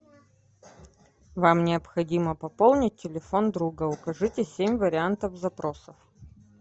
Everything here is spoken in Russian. вам необходимо пополнить телефон друга укажите семь вариантов запроса